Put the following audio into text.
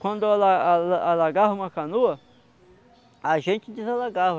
Quando ala ala alagava uma canoa, a gente desalagava.